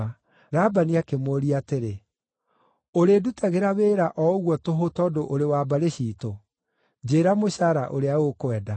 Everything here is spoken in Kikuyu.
Labani akĩmũũria atĩrĩ, “Ũrĩndutagĩra wĩra o ũguo tũhũ tondũ ũrĩ wa mbarĩ ciitũ? Njĩĩra mũcaara ũrĩa ũkwenda.”